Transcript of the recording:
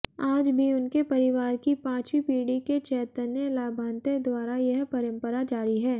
आज भी उनके परिवार की पांचवी पीढ़ी के चैतन्य लांभाते द्वारा यह परंपरा जारी है